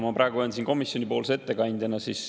Ma praegu olen siin komisjoni ettekandjana.